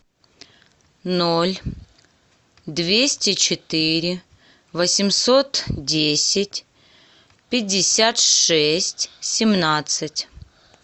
ноль двести четыре восемьсот десять пятьдесят шесть семнадцать